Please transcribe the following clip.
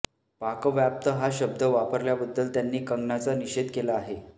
पाकव्याप्त हा शब्द वापरल्याबद्दल त्यांनी कंगनाचा निषेध केला आहे